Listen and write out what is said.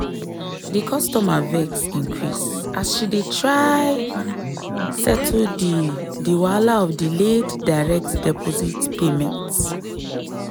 di customer vex increase as she dey try settle di di wahala of delayed direct deposit payment.